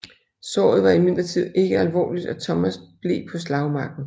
Såret var imidlertid ikke alvorligt og Thomas blev på slagmarken